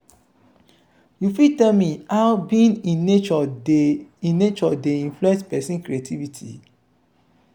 you fit tell me how being in nature dey in nature dey influence pesin creativity?